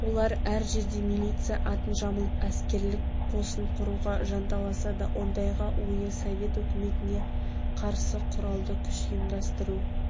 олар әр жерде милиция атын жамылып әскерлік қосын құруға жанталасады ондағы ойы совет өкіметіне қарсы құралды күш ұйымдастыру